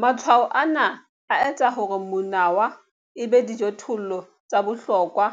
Matshwao ana a etsa hore monawa e be dijothollo tsa bohlokwa